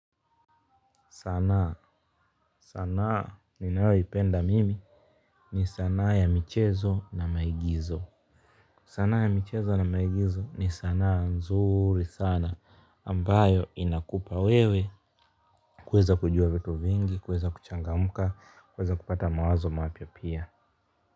Sanaa sanaa ninayoipenda mimi ni sanaa ya michezo na maigizo sanaa ya michezo na maigizo ni sana nzuri sana ambayo inakupa wewe kuweza kujua vitu vingi kuweza kuchangamka kuweza kupata mawazo mapya pia.